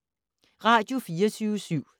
Radio24syv